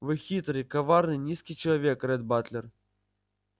вы хитрый коварный низкий человек ретт батлер